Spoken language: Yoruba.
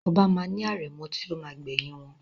Oba ma ni arẹ̀mọ ti o ma gbẹ̀yìn wọn.